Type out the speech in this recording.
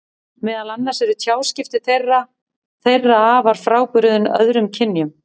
Meðal annars eru tjáskipti þeirra þeirra afar frábrugðin öðrum kynjum.